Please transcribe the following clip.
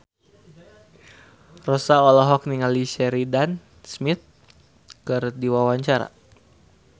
Rossa olohok ningali Sheridan Smith keur diwawancara